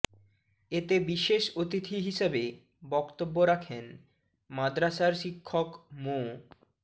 এতে বিশেষ অতিথি হিসাবে বক্তব্য রাখেন মাদ্রাসার শিক্ষক মো